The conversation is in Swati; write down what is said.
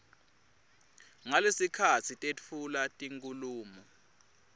ngalesikhatsi tetfula tinkhulumo